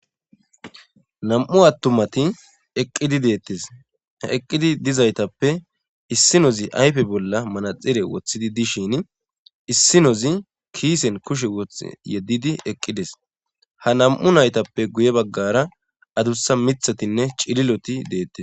nam7u attumati eqqidi deettis eqqidi dizaytappe issinozi ayfe bolla manaxire wothidi dishin issinozi kiisen kushe woth yeddidi eqqides ha nam7u naytappe guye baggara adussa mithatinne cililoti deettes